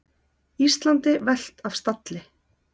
Íslandi velt af stalli